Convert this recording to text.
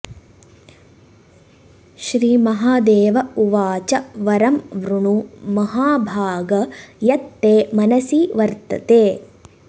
श्रीमहादेव उवाच वरं वृणु महाभाग यत् ते मनसि वर्तते